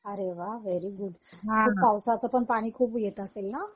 अरे वा very good पावसाचपण पाणी खूप येत असेल ना